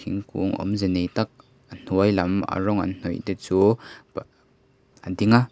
thingkung awmze nei tak a hnuailam a rawng an hnawih te chu a ding a.